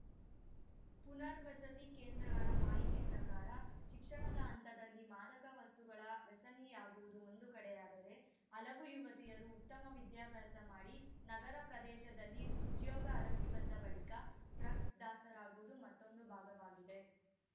ಪುನರ್ವಸತಿ ಕೇಂದ್ರಗಳ ಮಾಹಿತಿ ಪ್ರಕಾರ ಶಿಕ್ಷಣದ ಹಂತದಲ್ಲಿ ಮಾದಕ ವಸ್ತುಗಳ ವ್ಯಸನಿಯಾಗುವುದು ಒಂದು ಕಡೆಯಾದರೆ ಹಲವು ಯುವತಿಯರು ಉತ್ತಮ ವಿದ್ಯಾಭ್ಯಾಸ ಮಾಡಿ ನಗರ ಪ್ರದೇಶದಲ್ಲಿ ಉದ್ಯೋಗ ಅರಸಿ ಬಂದ ಬಳಿಕ ಡ್ರಗ್ಸ್‌ ದಾಸರಾಗುವುದು ಮತ್ತೊಂದು ಭಾಗವಾಗಿದೆ